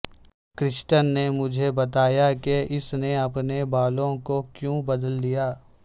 کرسٹن نے مجھے بتایا کہ اس نے اپنے بالوں کو کیوں بدل دیا